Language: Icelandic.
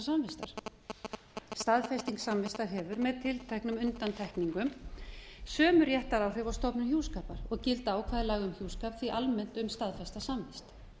samvistar staðfesting samvist hefur með tilteknum undantekningum sömu réttaráhrif og stofnun hjúskapar og geta ákvæði laga um hjúskap því almennt um staðfesta samvist